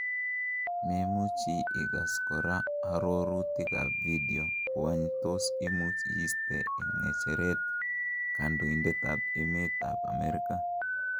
Memuchi Igas kora arorutik ab video, wany tos imuch iste en ng'echeret kandoindet ab Emet ab Amerika?